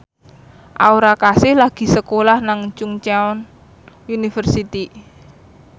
Aura Kasih lagi sekolah nang Chungceong University